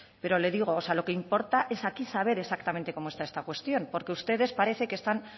pero le digo lo que importa es aquí saber cómo está exactamente esta cuestión porque ustedes parece que están